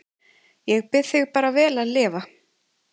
Ég bið þig bara vel að lifa